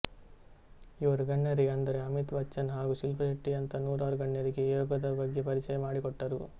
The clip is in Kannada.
ಇವರು ಗಣ್ಯರಿಗೆ ಆದ್ದರೆ ಅಮಿತ ಬಚ್ಚನ್ ಹಾಗೂ ಶಿಲ್ಪಶಟ್ಟಿ ಯಂತ ನೂರಾರು ಗಣ್ಯರಿಗೆ ಯೋಗದ ಬಗ್ಗೆ ಪರಿಚಯ ಮಾಡಿಕೊಟ್ಟರು